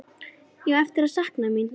Ég á eftir að sakna mín.